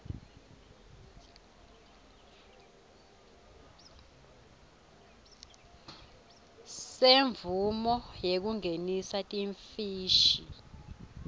semvumo yekungenisa timfishi